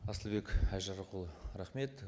асылбек айжарықұлы рахмет